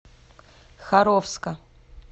харовска